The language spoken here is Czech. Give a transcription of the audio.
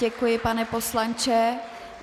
Děkuji, pane poslanče.